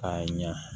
K'a ɲa